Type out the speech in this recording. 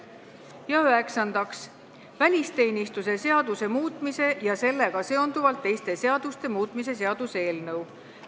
Ja üheksandaks, välisteenistuse seaduse muutmise ja sellega seonduvalt teiste seaduste muutmise seaduse eelnõu.